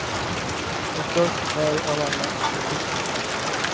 Och störst färg av alla är vitt.